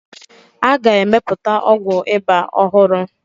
A ga-emepụta ọgwụ ịba ọhụrụ.